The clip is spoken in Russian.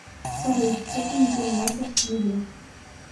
салют что ты не переносишь в еде